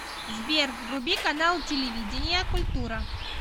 сбер вруби канал телевидения культура